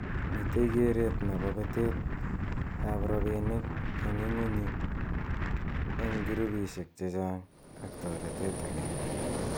Mitei keret nebo betet ab robinik eng inguni eng kirubishek chechang ak toretet age.